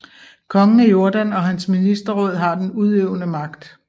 Kongen af Jordan og hans ministerråd har den udøvende magt